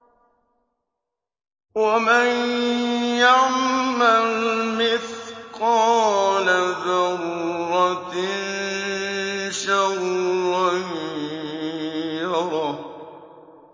وَمَن يَعْمَلْ مِثْقَالَ ذَرَّةٍ شَرًّا يَرَهُ